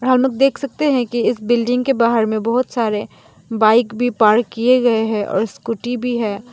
हम लोग देख सकते हैं कि इस बिल्डिंग के बाहर में बहुत सारे बाइक भी पार्क किए गए हैं और स्कूटी भी है।